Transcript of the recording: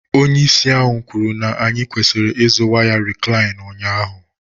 Onye isi ahụ kwuru na anyị kwesịrị ịzụrụ waya Reclean ụnyahụ.